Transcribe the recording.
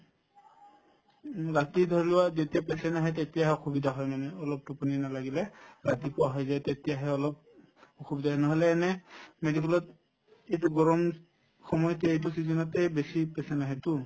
উম, ৰাতি ধৰিলোৱা যেতিয়া patient আহে তেতিয়াহে অসুবিধা হয় মানে অলপ টোপনি নালাগিলে ৰাতিপুৱা হৈ যায় তেতিয়াহে অলপ অসুবিধা হয় নহলে এনে medical ত এইটো গৰম এইটো সময়তে এইটো season তে বেছি patient আহে to